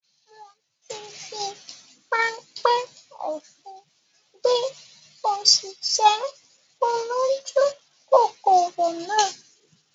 Mo ti fi panpẹ́ òfin gbé òṣìṣẹ́ olójú kòkòrò náà